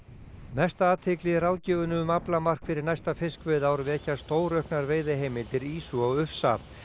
mesta athygli í ráðgjöfinni um aflamark fyrir næsta fiskveiðiár vekja stórauknar veiðiheimildir ýsu og ufsa